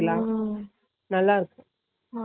குடிக்கலாம் உம் நல்ல இருக்கும்